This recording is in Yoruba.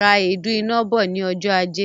Ra èédú iná bọ̀ ní ọjọ ajé